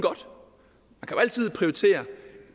altid prioritere